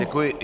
Děkuji.